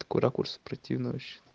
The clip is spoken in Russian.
такой ракурс противно вообще